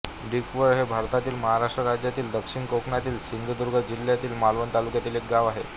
डिकवळ हे भारतातील महाराष्ट्र राज्यातील दक्षिण कोकणातील सिंधुदुर्ग जिल्ह्यातील मालवण तालुक्यातील एक गाव आहे